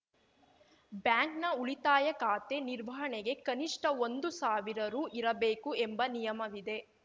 ಬ್ಯಾಂಕ್‌ನ ಉಳಿತಾಯ ಖಾತೆ ನಿರ್ವಹಣೆಗೆ ಕನಿಷ್ಟಒಂದು ಸಾವಿರ ರು ಇರಬೇಕು ಎಂಬ ನಿಯಮವಿದೆ